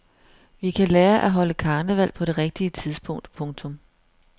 Vi kan lære at holde karneval på det rigtige tidspunkt. punktum